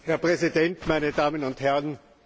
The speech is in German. Herr Präsident, meine Damen und Herren!